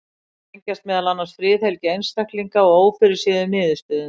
Þær tengjast meðal annars friðhelgi einstaklinga og ófyrirséðum niðurstöðum.